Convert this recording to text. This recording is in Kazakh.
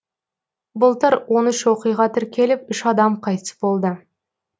былтыр он үш оқиға тіркеліп үш адам қайтыс болды